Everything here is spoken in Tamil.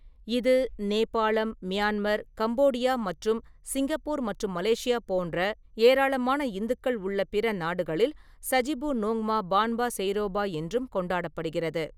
இது நேபாளம், மியான்மர், கம்போடியா மற்றும் சிங்கப்பூர் மற்றும் மலேசியா போன்ற ஏராளமான இந்துக்கள் உள்ள பிற நாடுகளில் சஜிபு நோங்மா பான்பா செய்ரோபா என்றும் கொண்டாடப்படுகிறது.